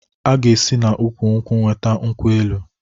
A ga esi na ụkwụ-nkwụ weta nkwụ-elụ